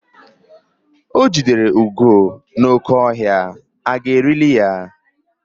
O jidere ugo n'oke ọhịa, aga erili ya eri?